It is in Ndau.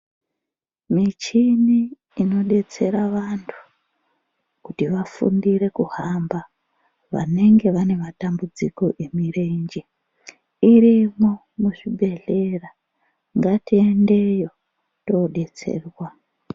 Michini inodetsera vantu kuti vafundire kuhamba vanenge vane matambudziko emurenje muzvibhedhlera ngatiendeyo todetserwa.